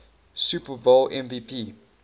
super bowl mvp